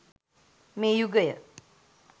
මේ යුගය